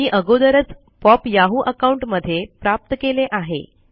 मी अगोदरच pop Yahoo account मध्ये प्राप्त केले आहे